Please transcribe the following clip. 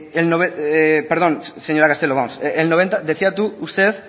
perdón señora castelo vamos el noventa decía usted